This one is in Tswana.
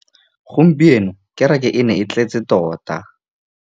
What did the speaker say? Gompieno kêrêkê e ne e tletse tota.